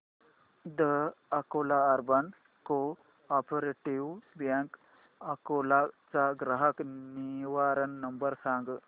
the Akola urban cooperative bank Akola चा ग्राहक निवारण नंबर सांग